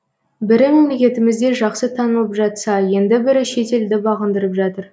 бірі мемлекетімізде жақсы танылып жатса енді бірі шетелді бағындырып жатыр